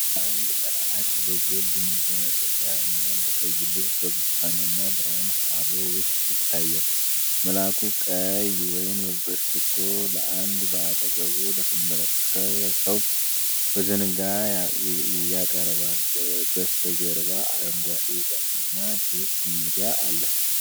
አንድ መልአክ በጎልድ መጎናጸፊያ እና በቀይ ልብስ በብርቱካናማ ብርሃን ሃሎ ውስጥ ይታያል። መልአኩ ቀይ ወይን በብርጭቆ ለአንድ በአጠገቡ ለተንበረከከ ሰው በዘንጋ ያቀርባል። በስተጀርባ አረንጓዴ የዛፍ እና ክፍት ሜዳ አለ።